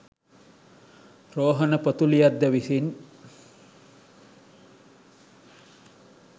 රෝහණ පොතුලියද්ද විසින්